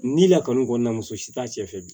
Ni lakɔni kɔnɔna muso si t'a cɛ fɛ bi